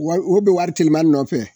Wa o be wari tileman nɔfɛ